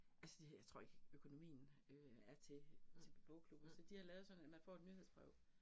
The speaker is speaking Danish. Altså de, jeg tror ikke, økonomien øh er til til bogklubben, så de har lavet sådan, at man får et nyhedsbrev